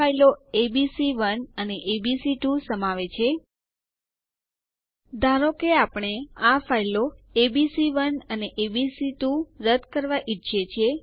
હવે ચાલો શીખીએ કે યુઝર અકાઉન્ટ કેવી રીતે રદ કરવું